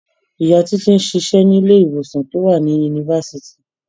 Ìyá Títí ń ṣiṣẹ́ ní ilé-ìwòsàn tó wà ní yunifásitì.